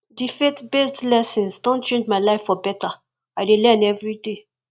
the faithbased lessons don change my life for better i dey learn daily